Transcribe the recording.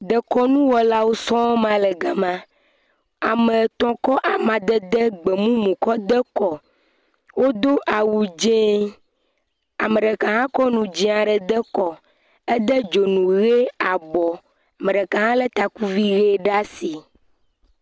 Dekɔnuwɔlawo sɔŋ ma le gama, ame etɔ̃ kɔ amadede gbemumu kɔ de kɔ, wodo awui dzee, ame ɖeka hã kɔ nu dzee aɖe de kɔ, ede dzonu ʋe abɔ, ame ɖeka hã lé takuvi ʋe ɖe asi.